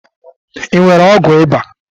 ị nwere ọgwụ ịba?